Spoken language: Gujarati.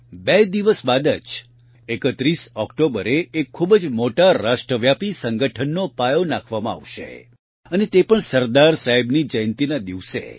બે દિવસ બાદ જ ૩૧ ઓકટોબરે એક ખૂબ જ મોટા રાષ્ટ્રવ્યાપી સંગઠનનો પાયો નાંખવામાં આવશે અને તે પણ સરદાર સાહેબની જયંતિના દિવસે